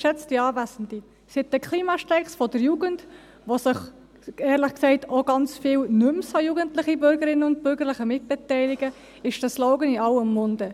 Seit den Klimastreiks der Jugend, an denen sich, ehrlich gesagt, auch nicht mehr so jugendliche Mitbürgerinnen und Mitbürger beteiligen, ist der Slogan in aller Munde.